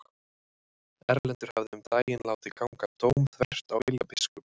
Erlendur hafði um daginn látið ganga dóm þvert á vilja biskups.